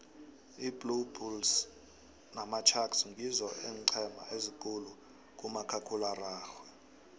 iblue bulles namasharks ngizo eencema ezikhulu kumakhkhulararhwe